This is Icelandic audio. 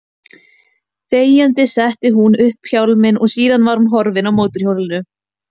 Þegjandi setti hún upp hjálminn og síðan var hún horfin á mótorhjólinu.